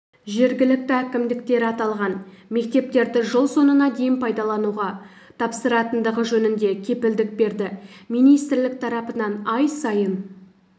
жергілікті әкімдіктер аталған мектептерді жыл соңына дейін пайдалануға тапсыратындығы жөнінде кепілдік берді министрлік тарапынан ай сайын